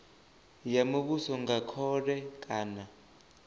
ya muvhuso nga khole kana